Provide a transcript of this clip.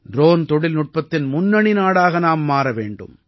drone தொழில்நுட்பத்தின் முன்னணி நாடாக நாம் மாற வேண்டும்